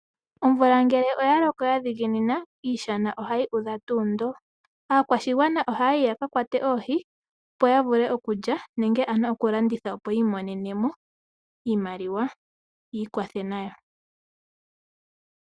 Omvula ngele oya loko ya dhiginina, iishana ohayi udha tuu ndo. Aakwashigwana oha yayi ya ka kwate oohi, opo ya vule okulya nenge oku landitha opo ya imonenemo iimaliwa yiikwathe nayo.